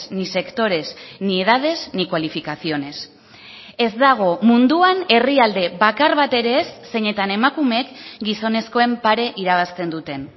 ni sectores ni edades ni cualificaciones ez dago munduan herrialde bakar bat ere ez zeinetan emakumeek gizonezkoen pare irabazten duten